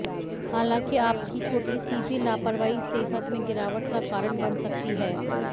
हालांकि आपकी छोटी सी भी लापरवाही सेहत में गिरावट का कारण बन सकती है